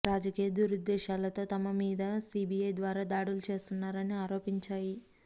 రాజకీయ దురుద్దేశాలతో తమ మీద సీబీఐ ద్వారా దాడులు చేస్తున్నారు అని ఆరోపించాయి